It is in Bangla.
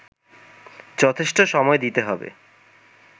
যথেষ্ট সময় দিতে হবে